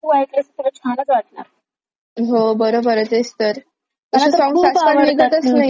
हो बरोबरे तेच तर तुला सांगू unintelligible आजकाल मी ऐकतच नाही खूप कमी अशे निघतात.